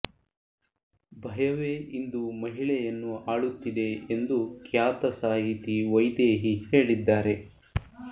ಭಯವೇ ಇಂದು ಮಹಿಳೆಯನ್ನು ಆಳುತ್ತಿದೆ ಎಂದು ಖ್ಯಾತ ಸಾಹಿತಿ ವೈದೇಹಿ ಹೇಳಿದ್ದಾರೆ